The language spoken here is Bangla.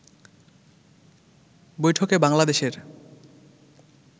বৈঠকে বাংলাদেশের